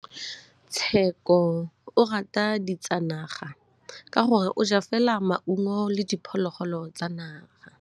Tshekô o rata ditsanaga ka gore o ja fela maungo le diphologolo tsa naga.